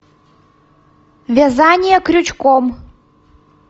вязание крючком